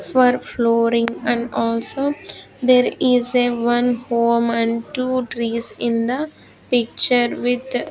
far flooring and also there is a one home and two trees in the picture with --